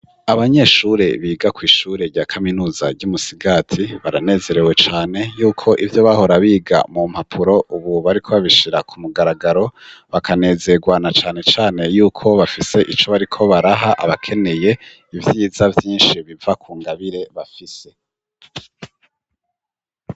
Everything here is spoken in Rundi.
abanyeshure biga ku ishure rya kaminuza ry'umusigati baranezerewe cane yuko ivyo bahora biga mu mpapuro ubu bariko babishira ku mugaragaro bakanezerwana cane cane yuko bafise ico bariko baraha abakeneye ivyiza byinshi biva ku ngabire bafise